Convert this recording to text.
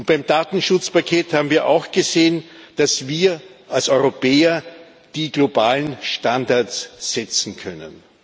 Beim Datenschutzpaket haben wir auch gesehen, dass wir als Europäer die globalen Standards setzen können.